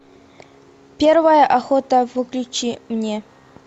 первая охота включи мне